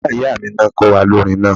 Ìyá ìyá mi ni wọ́n kọ́ wa ní orin náà